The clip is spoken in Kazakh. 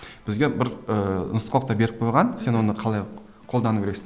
бізге бір ііі нұсқаулықты беріп қойған сен оны қалай қолдану керексің